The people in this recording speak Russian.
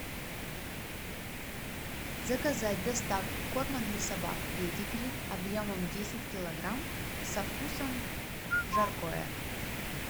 заказать доставку корма для собак педигри объемом десять килограмм со вкусом жаркое